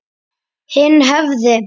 Hinn hefði